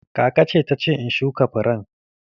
Kakace ta ce in shuka furen